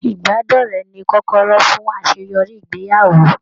Ibadọrẹ̀ ní kọkọrọ fún àṣeyọrí ìgbéyàwó.